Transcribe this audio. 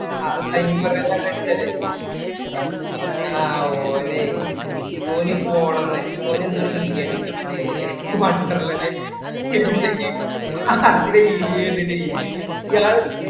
ആ ആ ഓനെ ഓന് പോണംന് ഓന് എന്തോ ഒരു video കണ്ടക്ക് മറ്റേ wonderla ൻ്റെ എന്ത് video ആ അത്ലെ video കണ്ടിറ്റേ ഇയാള്